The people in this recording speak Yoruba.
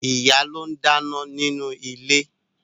Ìyá ló ń dáná nínú ilé